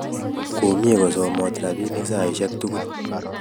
komie kosomo rabinik saishek tugul